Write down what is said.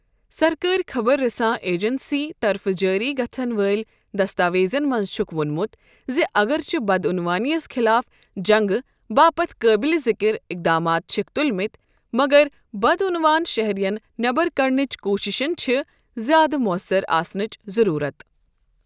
سرکٲری خبر رساں ایجنسی طرفہٕ جٲری گژھَن وٲلۍ دستاویزَن منٛز چھُکھ وونمُت زِ اگرچہِ بدعنوٲنیَس خلاف جنگہٕ باپتھ قٲبلِ ذِکِر اقدامات چھِکھ تُلمٕتۍ، مگر بدعنوان شہریَن نٮ۪بَر کڑنٕچ کوٗششَن چھِ زِیٛادٕ موثر آسنٕچ ضروٗرت۔